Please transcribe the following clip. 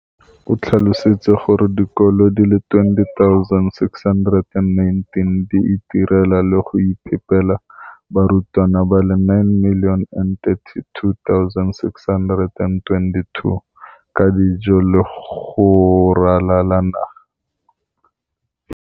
O tlhalositse gore dikolo di le 20 619 di itirela le go iphepela barutwana ba le 9 032 622 ka dijo go ralala naga letsatsi le lengwe le le lengwe.